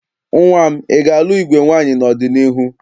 Nnwa m, ị ga-alụ igwe nwaanyị n'ọdịniihu?